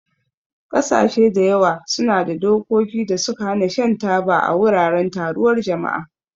Ƙasashe da yawa suna da dokokin da suka hana shan taba a wuraren taruwar jama'a.